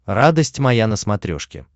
радость моя на смотрешке